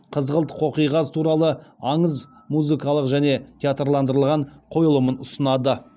қызғылт қоқиқаз туралы аңыз музыкалық және театрландырылған қойылымын ұсынады